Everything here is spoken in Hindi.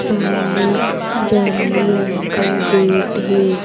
सामने जामनी रंग का गेट है।